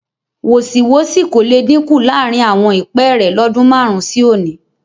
Wọ̀sìwọ́sì kò le dínkù láàrin àwọn ìpẹ́ẹ́rẹ́ lọ́dún márùn-ún sí òní